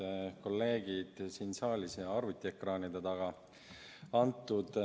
Head kolleegid siin saalis ja arvutiekraanide taga!